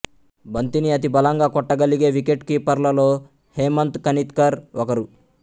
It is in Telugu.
బంతిని అతి బలంగా కొట్టగలిగే వికెట్ కీపర్లలో హేమంత్ కనిత్కర్ ఒకరు